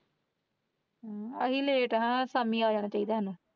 ਅਸੀਂ ਲੈਟ ਹਾਂ ਸ਼ਾਮੀ ਆ ਜਾਣਾ ਚਾਹੀਦਾ ਸੀ ਤੁਹਾਨੂੰ।